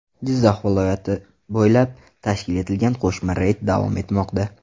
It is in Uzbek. Jizzax viloyati bo‘ylab tashkil etilgan qo‘shma reyd davom etmoqda.